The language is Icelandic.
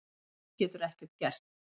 Þú getur ekkert gert.